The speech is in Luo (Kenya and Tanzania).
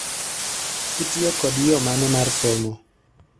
Itiyo kod yoo mane mar somo